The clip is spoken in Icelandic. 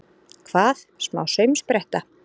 Hvað, smá saumspretta!